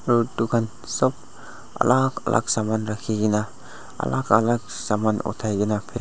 aro dukan sop alak alak saman rakikina alak alak saman otaikina.